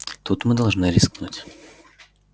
тут мы должны рискнуть